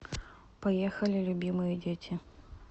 поехали любимые дети